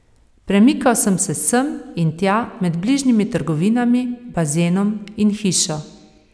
Premikal sem se sem in tja med bližnjimi trgovinami, bazenom in hišo.